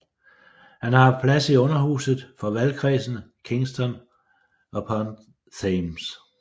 Han har haft plads i Underhuset for valgkredsen Kingston upon Thames